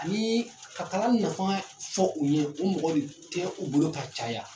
Ni ka kala nafa fɔ u ye , o mɔgɔ tɛ u bolo ka caya!